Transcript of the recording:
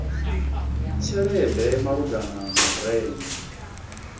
tshelede malugana na u renga